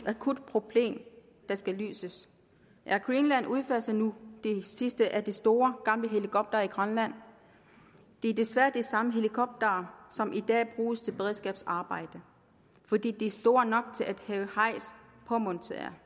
akut problem der skal løses air greenland udfaser nu de sidste af de store gamle helikoptere i grønland det er desværre de samme helikoptere som i dag bruges til beredskabsarbejdet fordi de er store nok til at have hejs påmonteret